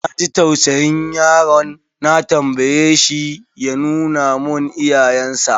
Na ji tausayin yaron, na tambaye shi ya nuna mun iyayensa.